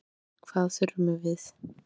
Spurningin er hvað þurfum við?